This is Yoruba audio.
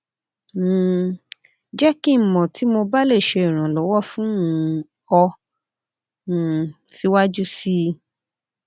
um jẹ ki n mọ ti mo ba le ṣe iranlọwọ fun um ọ um siwaju sii